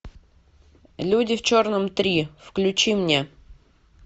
люди в черном три включи мне